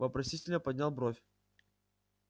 вопросительно поднял бровь